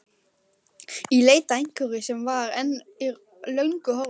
Í leit að einhverju sem var, en er löngu horfið.